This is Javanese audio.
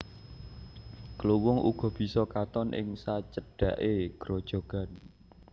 Kluwung uga bisa katon ing sacedhaké grojogan